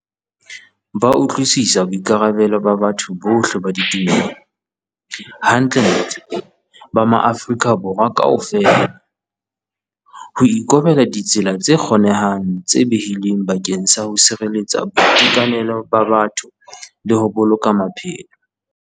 Ba utlwisisa boikarabelo ba batho bohle ba ditumelo - hantlentle ba maAfrika Borwa kaofela - ho ikobela ditsela tse kgonehang tse behilweng bakeng sa ho sireletsa boitekanelo ba batho le ho boloka maphelo.